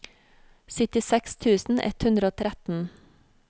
syttiseks tusen ett hundre og tretten